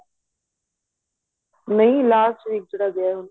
ਨਹੀਂ last weak ਜਿਹੜਾ ਗਿਆ ਏ ਹੁਣ